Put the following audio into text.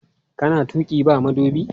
Kana tuƙi ba madubi?